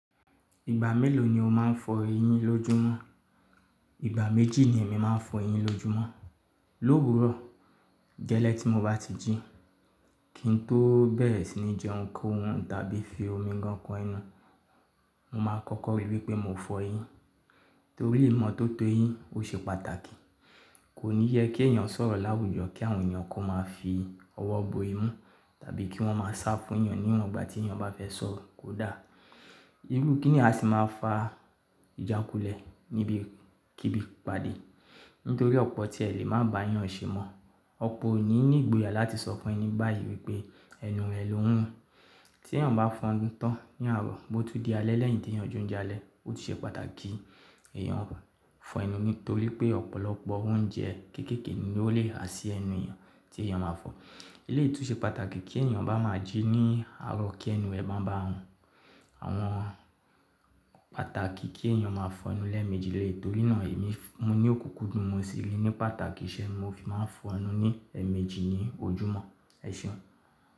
Ìgbà mélòó ni o máa ń fọ eyín lójúmọ́? Ìgbà méjì ni èmi máa ń fọ eyín lójúmọ́. Lówuro, gẹ́lẹ́ tí mo bá ti jí, kí n tó bẹ́rẹ̀ sì ní jẹ ohun kohun tàbí fi omi gan kọ enú, mo máa kọ́kọ́ ríi wí pé mo fọ eyín. Nítorí ìmọ́tótó eyín ó ṣe pàtàkì. Kò ní yẹ kí èèyàn sọ̀rọ̀ láwùjọ kí àwọn èèyàn kó máa fi ọwọ́ bo imú tàbí kí wọ́n máa sá fún èèyàn níwọ̀n gbà tí èèyàn bá fẹ́ sọ̀rọ̀, kódà. Irú kíni yìí a sì máa fa ìjákulẹ̀ níbi kíbi ìpàdé. Nítorí ọ̀pọ̀ tí ẹ lè má bà yàn ṣe mọ̀, ọ̀pọ̀ òní ní ìgboyà láti sọ fún ẹni báyìí wí pé ẹnu rẹ ni óun run. Tí èèyàn bá fọonu tán ní àárọ̀, bó tún di alẹ́ lẹ́yìn tí èèyàn jó ń jalè, ó tún ṣe pàtàkì kí èèyàn fọ ẹnu nítorí pé ọ̀pọ̀lọpọ̀ oúnjẹ kéékèèké ni ó lè ha sí ẹnu èèyàn tí èèyàn máa fọ. Ilé yìí tù ṣe pàtàkì tí èèyàn bá má jí ní àárọ̀, kí ẹnu ẹ máa bá run. Àwọn pàtàkì kí èèyàn máa fọ ẹnu lẹ́ẹ̀mejì lèyí. Torí náà èmi mu ní òkúkú dú, mọ̀ sí ri ní pàtàkì, ṣé ni mo fi máa ń fọ ẹnu ní ẹẹ̀mejì ní ojúmọ́. Ẹ ṣeun.